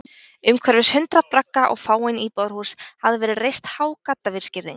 Umhverfis hundruð bragga og fáein íbúðarhús hafði verið reist há gaddavírsgirðing.